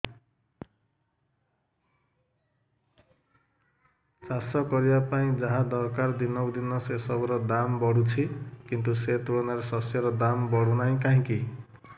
ଚାଷ କରିବା ପାଇଁ ଯାହା ଦରକାର ଦିନକୁ ଦିନ ସେସବୁ ର ଦାମ୍ ବଢୁଛି କିନ୍ତୁ ସେ ତୁଳନାରେ ଶସ୍ୟର ଦାମ୍ ବଢୁନାହିଁ କାହିଁକି